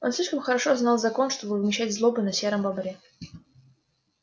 он слишком хорошо знал закон чтобы вымещать злобу на сером бобре